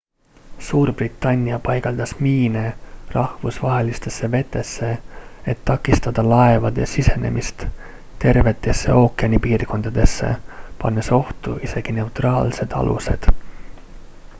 suurbritannia paigaldas miine rahvusvahelistesse vetesse et takistada laevade sisenemist tervetesse ookeani piirkondadesse pannes ohtu isegi neutraalsed alused